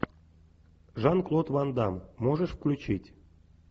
жан клод ван дамм можешь включить